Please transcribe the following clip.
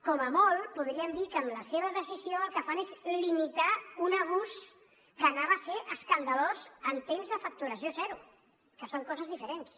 com a molt podríem dir que amb la seva decisió el que fan és limitar un abús que hauria estat escandalós en temps de facturació zero que són coses diferents